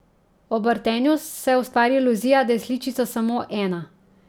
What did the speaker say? Ob vrtenju se ustvari iluzija, da je sličica samo ena.